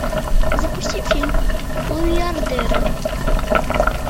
запусти фильм миллиардеры